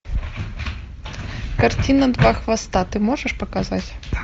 картина два хвоста ты можешь показать